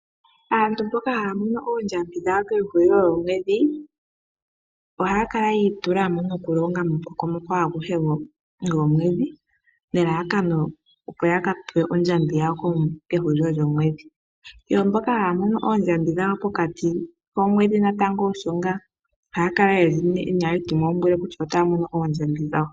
Aantu mboka haya mono oondjambi dhawo kehulilo lyoomwedhi, ohaya kala yi itula mo nokulonga momukokomoko aguhe gomwedhi, nelalakano opo yaka pewe ondjambi yawo pehulilo lyomwedhi, yo mboka haya mono oondjambi dhawo pokati komwedhi natango osho ngaa ohaya kala yena etimwaumbwile kutya otaya mono oondjambi dhawo.